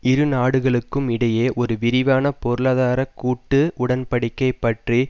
இரு நாடுகளுக்கும் இடையே ஒரு விரிவான பொருளாதார கூட்டு உடன் படிக்கை பற்றி